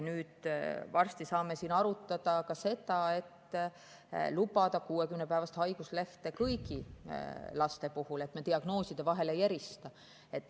Varsti saame siin arutada ka seda, et lubada 60‑päevast haiguslehte kõigi laste puhul, me diagnoosidel vahet ei tee.